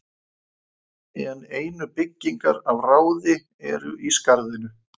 en einu byggingar af ráði eru í skarðinu